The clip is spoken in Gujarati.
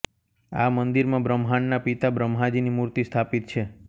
આ મંદિરમાં બ્રહ્માંડના પિતા બ્રહ્માજીની મૂર્તિ સ્થાપિત છે